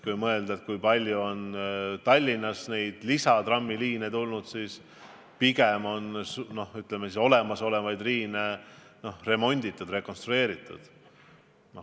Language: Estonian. Kui mõelda, kui palju on Tallinnas trammiliine juurde tulnud, siis on pigem õige öelda, et olemasolevaid liine on remonditud, rekonstrueeritud.